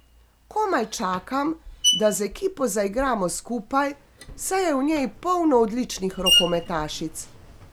Komaj čakam, da z ekipo zaigramo skupaj, saj je v njej polno odličnih rokometašic.